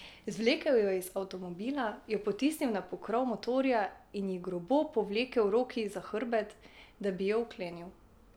Zvlekel jo je iz avtomobila, jo potisnil na pokrov motorja in ji grobo povlekel roki za hrbet, da bi jo vklenil.